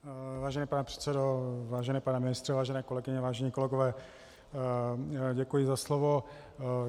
Vážený pane předsedo, vážený pane ministře, vážené kolegyně, vážení kolegové, děkuji za slovo.